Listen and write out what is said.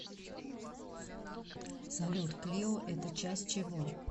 салют клио это часть чего